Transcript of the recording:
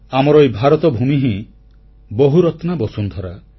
ଆମର ଏହି ଭାରତ ଭୂମି ହିଁ ବହୁରତ୍ନା ବସୁନ୍ଧରା